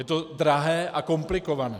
Je to drahé a komplikované.